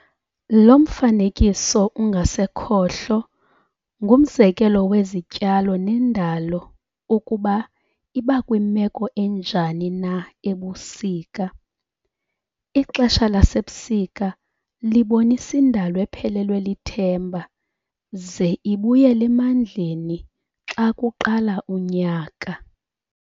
Lo mfanekiso ungasekhohlo ngumzekelo wezityalo nendalo ukuba iba kwimeko enjani na ebusika. Ixesha lasebusika libonisa indalo ephelelwe lithemba ze ibuyele emandleni xa kuqala unyaka.